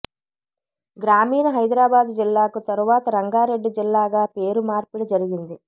గ్రామీణ హైదరాబాదు జిల్లాకు తరువాత రంగారెడ్డి జిల్లాగా పేరు మార్పిడి జరిగింది